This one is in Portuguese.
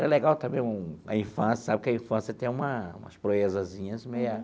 Era legal também um a infância, sabe que a infância tem uma umas proezazinhas meia.